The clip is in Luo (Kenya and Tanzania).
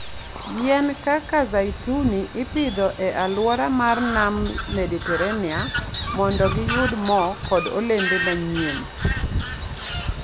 Yien kaka zeituni ipidho e alwora mar Nam Mediterania mondo giyud mo kod olembe manyien.